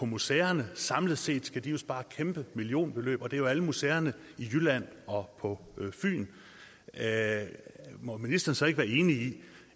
museerne samlet set skal spare kæmpe millionbeløb og det er jo alle museerne i jylland og på fyn må ministeren så ikke være enig i